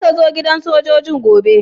Zaka zo gidan sojoji'n gobe?